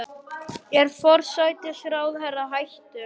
Er forsætisráðherra hættulegur?